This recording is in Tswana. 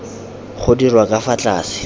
go dirwa ka fa tlase